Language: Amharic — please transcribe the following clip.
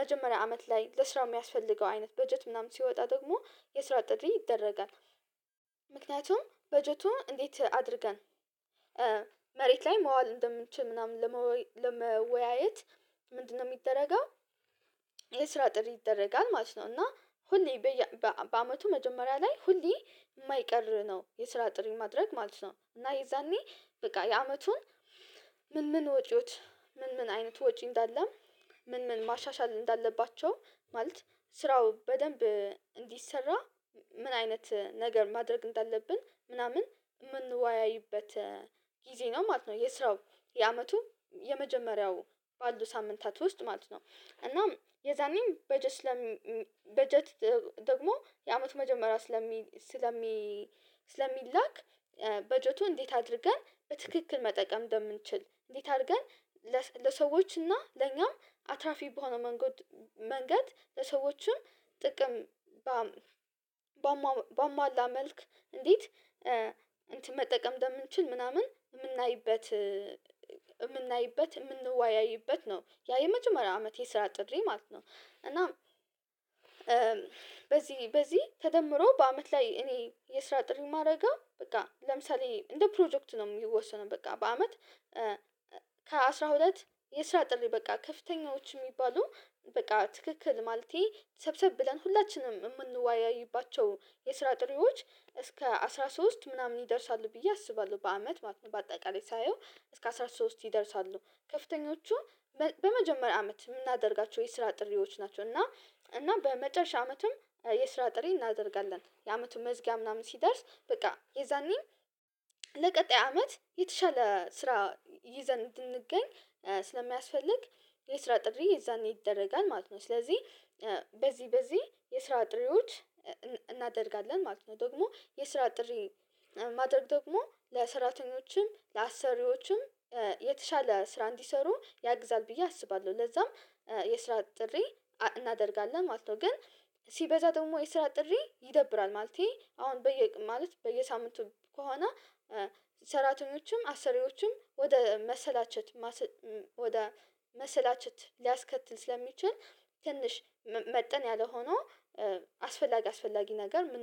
መጀመሪያ አመት ላይ ለስራው የሚያስፈልገው አይነት በጀት ምናምን ሲወጣ ደግሞ የስራ አጥሪ ይደረጋል። ምክንያቱም በጀቱን እንዴት አድርገን መሬት ላይ መዋል እንደምንችል ምናምን ለመወያየት ምንድነው የሚደረገው? የስራ ጥሪ ይደረጋል ማለት ነው እና ሁሌ በየ በአመቱ መጀመሪያ ላይ ሁሌ የማይቀር ነው የስራ ጥሪ ማድረግ ማለት ነው። እና የዛኔ በቃ የአመቱን ምን ምን ወጪዎች ምን ምን አይነት ወጪ እንዳለ ምን ምን ማሻሻል እንዳለባቸው ማለት ስራው በደንብ እንዲሰራ ምን አይነት ነገር ማድረግ እንዳለብን ምናምን የምንወያይበት ጊዜ ነው ማለት ነው። የስራው የአመቱ የመጀመሪያው ባሉ ሳምንታት ውስጥ ማለት ነው። እናም የዛኔም በጀት ስለም በጀት ደግሞ የአመቱ መጀመሪያ ስለሚ ስለሚ ስለሚላክ በጀቱን እንዴት አድርገን በትክክል መጠቀም እንደምንችል እንዴት አድርገን ለሰዎች እና ለኛም አትራፊ በሆነ መንገድ ለሰዎችም ጥቅም በ በማላ መልክ እንዴት መጠቀም እንደምንችል ምናምን የምናይበት የምንወያይበት ነው ያ የመጀመሪያ አመቴ ስራ ጥድሬ ማለት ነው። እና በዚህ በዚህ ተደምሮ በአመት ላይ እኔ የስራ ጥሪ ማረገው በቃ ለምሳሌ እንደ ፕሮጀክቱ ነው የሚወሰነው በቃ በአመት ከአሥራ ሁለት የስራ ጥሪ በቃ ከፍተኛዎች የሚባሉ በቃ ትክክል ማለቴ ሰብሰብ ብለን ሁላችንም የምንዋያይባቸው የስራ ጥሪዎች እስከ አስራ ሶስት ምናምን ይደርሳሉ ብዬ አስባለሁ በአመት ማለት ነው። በአጠቃላይ ሳየው እስከ አስራ ሶስት ይደርሳሉ ከፍተኞቹ በመጀመሪያ አመት የምናደርጋቸው የስራ ጥሪዎች ናቸው። እና እና በመጨረሻ አመትም የስራ ጥሪ እናደርጋለን የአመቱ መዝጊያ ምናምን ሲደርስ በቃ የዛኔ ለቀጣይ አመት የተሻለ ስራ ይዘን እንድንገኝ ስለሚያስፈልግ የስራ ጥሪ የዛኔ ይደረጋል ማለት ነው። ስለዚህ በዚህ በዚህ የስራ ጥሪዎች እናደርጋለን ማለት ነው። ደግሞ የስራ ጥሪ ማድረግ ደግሞ ለስራተኞችም ለአሰሪዎችም የተሻለ ስራ እንዲሰሩ ያግዛል ብዬ አስባለሁ ለዛም የስራ ጥሪ እናደርጋለን ማለት ነው። ግን ሲበዛ ደግሞ የስራ ጥሪ ይደብራል ማለቴ አሁን በየ ማለት በየሳምንቱ ከሆነ ሰራተኞችም አሰሪዎችም ወደ መሰላቸት ወደ መሰላቸት ሊያስከትል ስለሚችል ትንሽ መጠን ያለ ሆኖ አስፈላጊ አስፈላጊ ነገር ምን